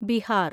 Bihar